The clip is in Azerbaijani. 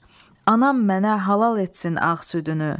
Anam mənə halal etsin ağ südünü.